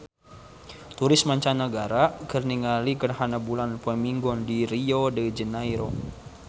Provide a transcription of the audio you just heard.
Turis mancanagara keur ningali gerhana bulan poe Minggon di Rio de Janairo